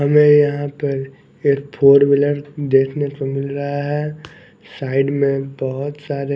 हमें यहाँ पर एक फोर व्हीलर देखने को मिल रहा है साइड में बहुत सारे --